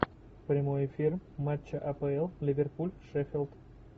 прямой эфир матча апл ливерпуль шеффилд